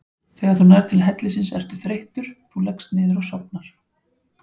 Þegar þú nærð til hellisins ertu þreyttur, þú leggst niður og sofnar.